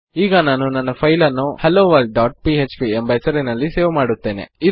ಈಗ ನಾನು ನನ್ನ ಫೈಲ್ ನನ್ನು helloworldಪಿಎಚ್ಪಿ ಎಂಬ ಹೆಸರಿನಲ್ಲಿ ಸೇವ್ ಮಾಡಿದ್ದೇನೆ